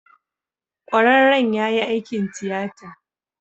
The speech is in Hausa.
Kwararren ya yi aikin tiyata.